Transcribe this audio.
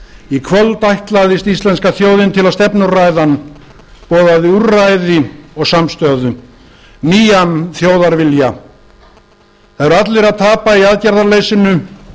í kvöld ætlaðist íslenska þjóðin til að stefnuræðan boðaði úrræði og samstöðu nýjan þjóðarvilja það eru allir að tapa í aðgerðaleysinu